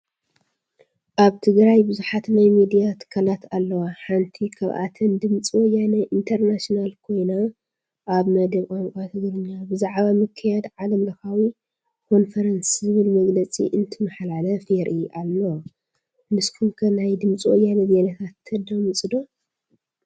ኣብ ትግራይ ብዙሓት ናይ ሚድያ ትካላት ኣለዋ፡፡ ሓንቲ ካብኣተን ድምፂ ወያነ እንተርናሽናል ኮይና ኣብ መደብ ቋንቋ ትግርኛ ብዛዕባ ምክያድ ዓለም ለኻዊ ኮንፈረንስ ዝብል መግለፂ እንትመሓላለፍ የርኢ ኣሎ፡፡ ንስኹም ከ ናይ ድምፂ ወያነ ዜናታት ተዳምፁ ዶ?